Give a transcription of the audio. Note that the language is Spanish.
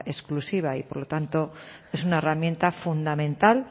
exclusiva y por lo tanto es una herramienta fundamental